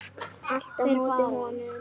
Allt á móti honum.